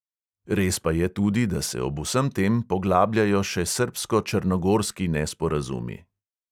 Res pa je tudi, da se ob vsem tem poglabljajo še srbsko-črnogorski nesporazumi.